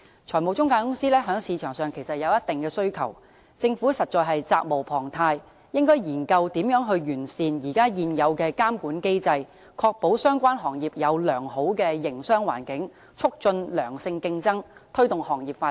財務中介公司在市場上有一定的需求，政府實在責無旁貸，應研究如何完善現有監管機制，確保相關行業有良好的營商環境，促進良性競爭，推動行業發展。